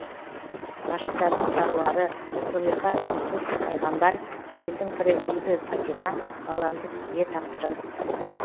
ғашықтардың саруары зұлиха юсуф пайғамбар әйелдің пірі бибі фатима баламды сізге тапсырым